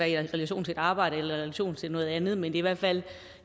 i relation til et arbejde eller i relation til noget andet men i hvert fald